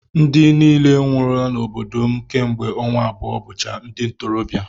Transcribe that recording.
Ndị niile nwụrụla n'obodo m kemgbe ọnwa abụọ bụcha ndi ntorobịa